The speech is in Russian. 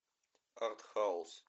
артхаус